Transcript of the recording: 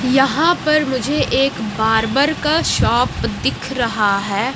यहां पर मुझे एक बार्बर का शॉप दिख रहा है।